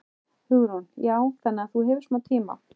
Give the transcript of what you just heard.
Hugrún: Já, þannig að þú hefur smá tíma?